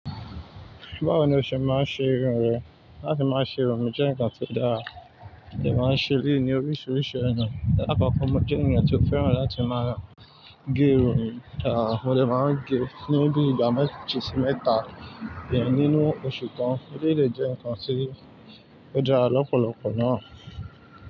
Báwo ni o ṣe máa ń ṣe irun rẹ? Láti máa ṣe irun mi jẹ́ nǹkan tó dára. Mo máa ń ṣe léèní oríṣiríṣi ona. Lákoko mo jẹ́ ènìyàn tí ó fẹ́ràn láti máa gé irun. Mo dè máa ń gé, ní bí i igba méjì sí mẹ́ta diẹ̀ nínú oṣù kan. Eleyii dè jẹ́ nǹkan tí ó dára lọ́pọ̀lọpọ̀ náà.